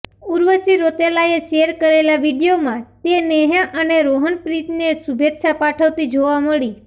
ઉર્વશી રૌતેલાએ શેર કરેલા વીડિયોમાં તે નેહા અને રોહનપ્રીતને શુભેચ્છા પાઠવતી જોવા મળી